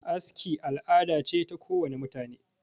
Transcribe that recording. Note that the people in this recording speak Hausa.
aski al'ada ce ta kowane mutane